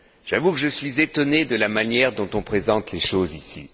J'avoue que je suis étonné de la manière dont on présente les choses ici.